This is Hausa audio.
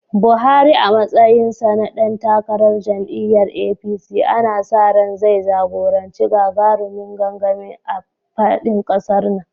Buhari a matsayinsa na dan takarar jam’iyyar APC, ana sa ran zai jagoranci gagarumin gangami a faɗin ƙasar nan.